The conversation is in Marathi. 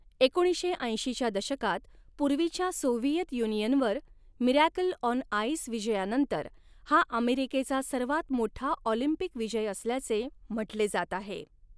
एकोणीसशे ऐंशीच्या दशकात पूर्वीच्या सोव्हिएत युनियनवर 'मिरॅकल ऑन आइस' विजयानंतर हा अमेरिकेचा सर्वात मोठा ऑलिम्पिक विजय असल्याचे म्हटले जात आहे.